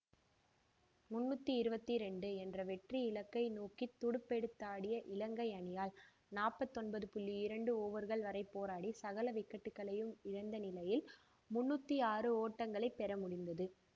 முன்னூற்றி இருபத்தி இரண்டு என்ற வெற்றியிலக்கை நோக்கி துடுப்பெடுத்தாடிய இலங்கை அணியால் நாற்பத்தி ஒன்பது இரண்டு ஓவர்கள் வரை போராடி சகல விக்கட்டுக்களையும் இழந்த நிலையில் முன்னூத்தி ஆறு ஓட்டங்களை பெற முடிந்தது